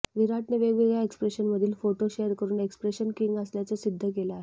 विराटने वेगवेगळ्या एक्स्प्रेशनमधील फोटो शेअर करुन एक्स्प्रेशन किंग असल्याचं सिद्ध केलं आहे